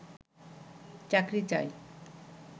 চাকরি চাই